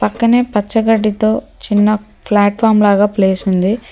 పక్కనే పచ్చ గడ్డితో చిన్న ఫ్లాట్ ఫార్మ్ లాగా ప్లేస్ ఉంది.